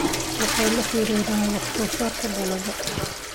waxay la xiriiraan wax-soo-saarka dalagga.